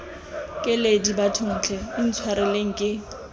keledi bathong tlhe intshwareleng ke